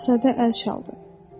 Balaca şahzadə əl çaldı.